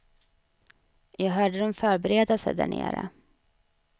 Jag hörde dem förbereda sig där nere.